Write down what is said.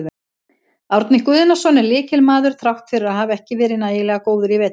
Árni Guðnason er lykilmaður þrátt fyrir að hafa ekki verið nægilega góður í vetur.